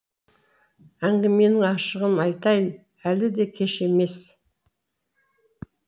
әңгіменің ашығын айтайын әлі де кеш емес